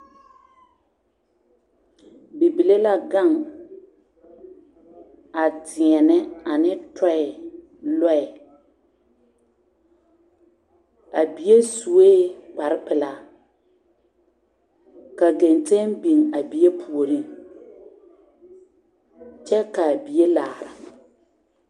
Bibile la gaŋ a deɛnɛ ne tɔɛ lɔɛ a bie suekpare pilaa kagaŋteŋ biŋ a bie nimitɔɔriŋ kyɛ kaa bie laara.